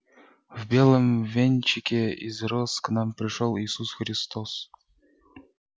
в белом венчике из роз к нам пришёл иисус христос